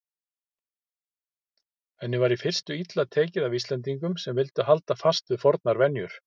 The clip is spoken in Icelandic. Henni var í fyrstu illa tekið af Íslendingum sem vildu halda fast við fornar venjur.